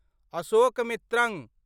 Ashokamitran